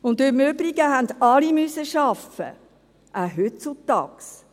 Und im Übrigen mussten arbeiten, auch heutzutage.